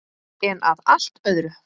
En að allt öðru!